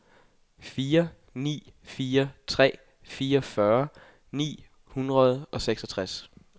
fire ni fire tre fireogfyrre ni hundrede og seksogtres